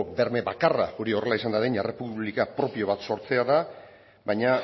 berme bakarra hori horrela izan dadin errepublika propio bat sortzea da baina